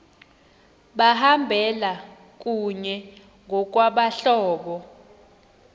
behamba kunye ngokwabahlobo